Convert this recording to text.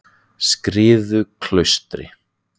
Skriðuklaustri